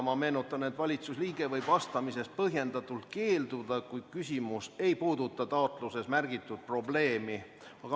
Ma meenutan, et valitsusliige võib vastamisest põhjendatult keelduda, kui küsimus ei puuduta taotluses märgitud probleemi.